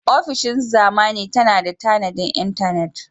Ofishin zamani na da tanadin intanet.